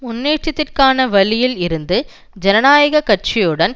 முன்னேற்றத்திற்கான வழியில் இருப்பது ஜனநாயக கட்சியுடன்